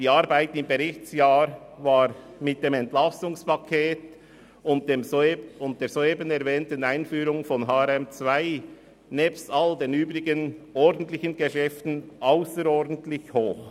Die Arbeit im Berichtsjahr war mit dem Entlastungspaket (EP) und der erwähnten Einführung von HRM2 nebst allen übrigen ordentlichen Geschäften ausserordentlich hoch.